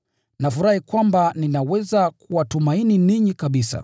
Nafurahi kwamba ninaweza kuwatumaini ninyi kabisa.